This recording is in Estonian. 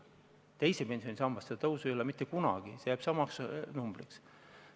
Teises pensionisambas seda tõusu ei ole mitte kunagi, see jääb samaks numbriks.